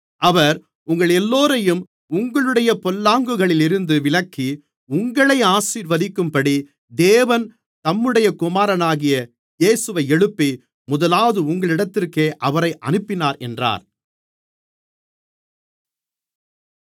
அவர் உங்களெல்லோரையும் உங்களுடைய பொல்லாங்குகளிலிருந்து விலக்கி உங்களை ஆசீர்வதிக்கும்படி தேவன் தம்முடைய குமாரனாகிய இயேசுவை எழுப்பி முதலாவது உங்களிடத்திற்கே அவரை அனுப்பினார் என்றான்